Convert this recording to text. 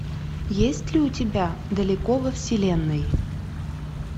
есть ли у тебя далеко во вселенной